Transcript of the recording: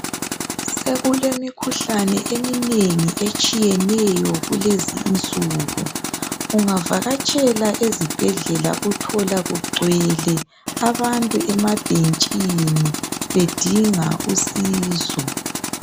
Sekulemikhuhlane eminengi etshiyeneyo kulezi insuku. Ungavakatshela ezibhedlela uthola kugcwele abantu amabhentshini bedinga usizo.